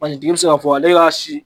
Mansintigi bɛ se k'a fɔ ale y'a si